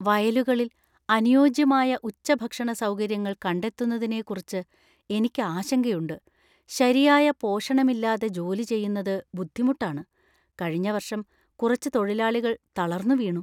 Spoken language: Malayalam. വയലുകളിൽ അനുയോജ്യമായ ഉച്ചഭക്ഷണ സൗകര്യങ്ങൾ കണ്ടെത്തുന്നതിനെക്കുറിച്ച് എനിക്ക് ആശങ്കയുണ്ട്. ശരിയായ പോഷണമില്ലാതെ ജോലി ചെയ്യുന്നത് ബുദ്ധിമുട്ടാണ്, കഴിഞ്ഞ വർഷം കുറച്ച് തൊഴിലാളികൾ തളർന്നു വീണു.